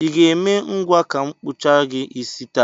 I ga-eme ngwa ka m kpụchaa gị isi taa?